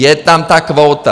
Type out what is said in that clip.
Je tam ta kvóta.